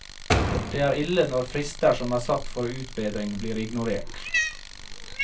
Det er ille når frister som er satt for utbedring blir ignorert.